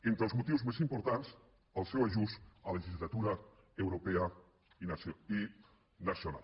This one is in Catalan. entre els motius més importants el seu ajust a legislatura europea i nacional